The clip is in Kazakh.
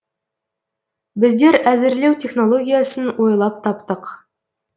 біздер әзірлеу технологиясын ойлап таптық